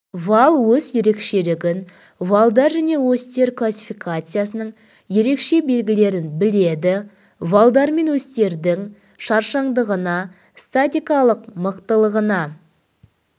вал ось ерекшелігін валдар және осьтер классификациясының ерекше белгілерін біледі валдар мен осьтердің шаршаңдығына статикалық мықтылығына